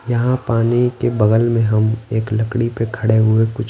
यहां पानी के बगल में हम एक लड़की पे खड़े हुए कुछ--